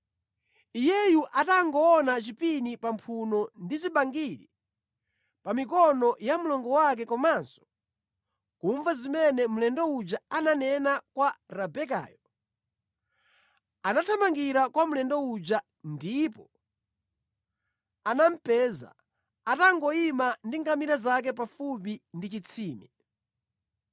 Iyeyu atangoona chipini pa mphuno ndi zibangiri pa mikono ya mlongo wake komanso kumva zimene mlendo uja ananena kwa Rebekayo, anathamangira kwa mlendo uja, ndipo anamupeza atangoyima ndi ngamira zake pafupi ndi chitsime.